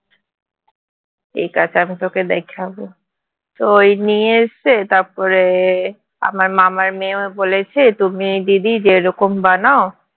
এটা তোকে আমি দেখাবো তো এই নিয়ে এসেছে তারপরে আমার মামার মেয়েও বলেছে তুমি দিদি যেরকম বানাও